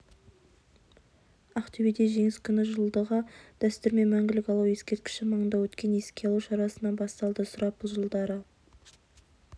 ақтөбеде жеңіс күні жылдағы дәстүрмен мәңгілік алау ескерткіші маңында өткен еске алу шарасынан басталды сұрапыл жылдары